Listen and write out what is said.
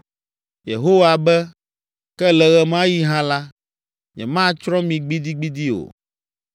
Yehowa be, “Ke le ɣe ma ɣi hã la, nyematsrɔ̃ mi gbidigbidi o.